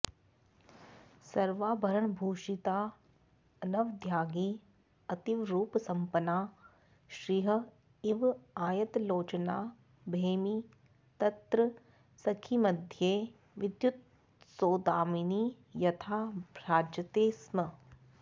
सर्वाभरणभूषिता अनवद्याङ्गी अतीवरूपसम्पन्ना श्रीः इव आयतलोचना भैमी तत्र सखीमध्ये विद्युत्सौदामिनी यथा भ्राजते स्म